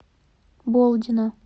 болдина